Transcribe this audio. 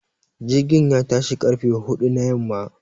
Jirgin ya tashi ƙarfe huɗu na yamma.